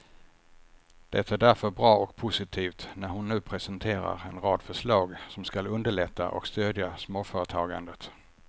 Det är därför bra och positivt när hon nu presenterar en rad förslag som skall underlätta och stödja småföretagandet.